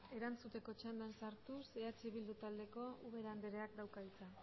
erantzuteko txandan sartuz eh bildu taldeko ubera andreak dauka hitza